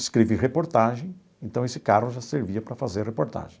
Escrevi reportagem, então esse carro já servia para fazer reportagem.